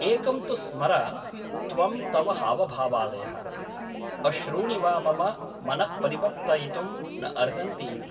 एकं तु स्मर त्वं तव हावभावादयः , अश्रूणि वा मम मनः परिवर्तयितुं न अर्हन्ति इति ।